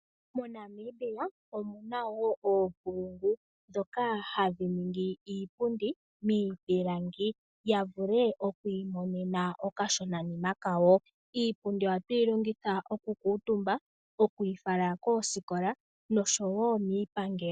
MoNamibia omu na oonkulungu ndhoka hadhi ningi iipundi miipilangi opo ya vule oku imonena okashonanima kawo. Iipundi ohatu yi longitha okukutumba moosikola nosho wo miipangelo.